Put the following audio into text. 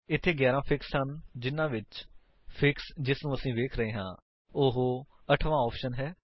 ਇੱਥੇ 11 ਫਿਕਸ ਹਨ ਜਿਨ੍ਹਾਂ ਵਿੱਚ ਵਲੋਂ ਫਿਕਸ ਜਿਨੂੰ ਅਸੀ ਵੇਖ ਰਹੇ ਹਾਂ ਉਹ 8ਥ ਆਪਸ਼ਨ ਹੈ